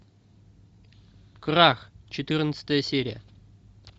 крах четырнадцатая серия